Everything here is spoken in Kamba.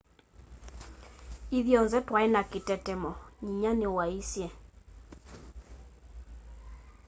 ithyonthe twai na kitetemo nyinya niwaisye